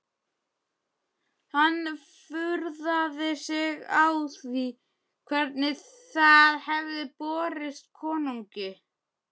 Hann furðaði sig á því hvernig það hefði borist konungi.